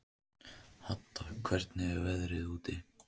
Hadda, hvernig er veðrið úti?